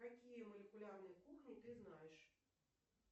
какие молекулярные кухни ты знаешь